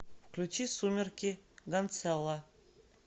включи сумерки гансэлло